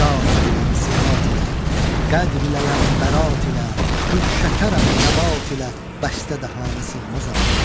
Zat iləyəm sifət ilə, qədr iləyəm bərat ilə, gül şəkərəm nəbat ilə, bəstə dəhanə sığmazam.